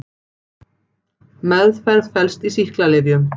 Meðferð felst í sýklalyfjum.